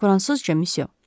Fransızca, misyo.